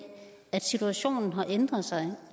at situationen har ændret sig